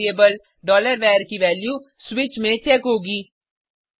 फिर से variable var की वैल्यू स्विच में चेक होगी